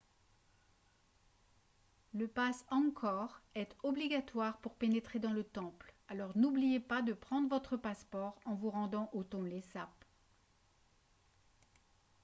le passe angkor est obligatoire pour pénétrer dans le temple alors n'oubliez pas de prendre votre passeport en vous rendant au tonlé sap